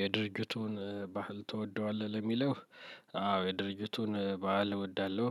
የድርጅቱን ባህል ትወደዋለህ ለሚለው? አዎ የድርጅቱን ባህል እወዳለሁ።